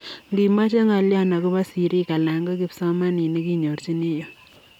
Ngimechee ngolyoo akopoo siriik anan ko kipsomaninik inyorchini yuu.